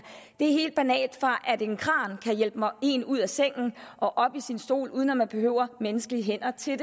det er helt banalt fra at en kran kan hjælpe en ud af sengen og op i stolen uden at man behøver menneskelige hænder til